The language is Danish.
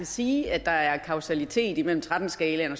sige at der er kausalitet mellem tretten skalaen